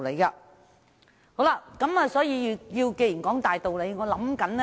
那麼我要如何說出這個大道理呢？